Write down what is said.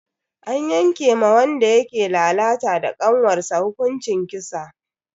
An yanke ma wanda yake lalata da kanwarsa hukuncin kisa.